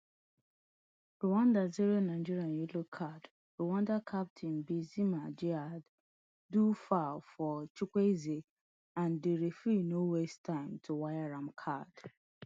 rwanda zero nigeria yellow card rwanda captain bizimana djihad do foul for chukwueze and di referee no waste time to waya am card